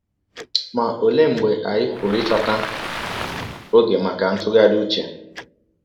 Ma ọlee mgbe anyị pụrụ ịchọta ọge maka ntụgharị ụche?